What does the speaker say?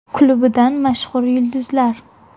Klubidan mashhur yulduzlar.